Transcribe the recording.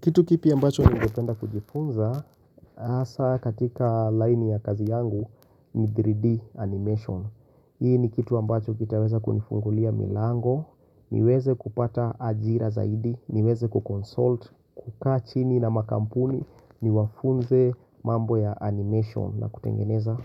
Kitu kipya ambacho ningependa kujifunza, hasa katika laini ya kazi yangu ni 3D animation. Hii ni kitu ambacho kitaweza kunifungulia milango, niweze kupata ajira zaidi, niweze kuconsult, kukaa chini na makampuni, niwafunze mambo ya animation na kutengeneza